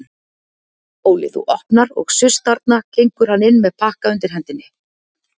Óli þú opnar og suss þarna gengur hann inn með pakka undir hendinni.